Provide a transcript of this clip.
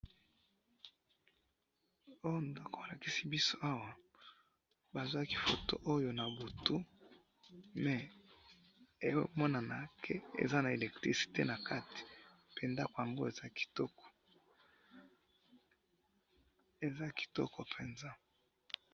O ndako ba lakisi biso awa, ba zwaki photo na butu, mais ezo monana que eza na électricité na kati, pe ndako yango eza kitoko. eza kitoko penza